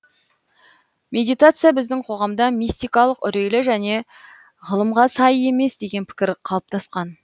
медитация біздің қоғамда мистикалық үрейлі және ғылымға сай емес деген пікір қалыптасқан